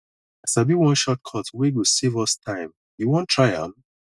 i sabi one shortcut wey go save us time you wan try am